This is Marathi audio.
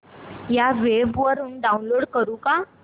या वेब वरुन डाऊनलोड करू का